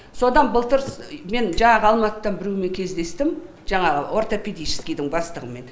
содан былтыр мен жаңағы алматыда біреумен кездестім жаңағы ортопедическийдың бастығымен